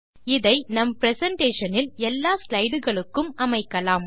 இதை நம் பிரசன்டேஷன் இல் எல்லா ஸ்லைடுகளுக்கும் அமைக்கலாம்